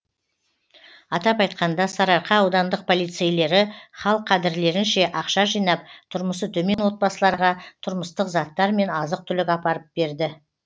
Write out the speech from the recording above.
атап айтқанда сарыарқа аудандық полицейлері хал қадірлерінше ақша жинап тұрмысы төмен отбасыларға тұрмыстық заттар мен азық түлік апарып берді